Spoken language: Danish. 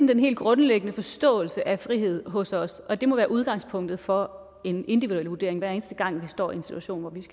den helt grundlæggende forståelse af frihed hos os og det må være udgangspunktet for en individuel vurdering hver eneste gang vi står i en situation hvor